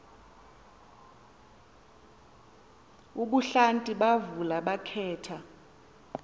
ebuhlanti bavula bakhetha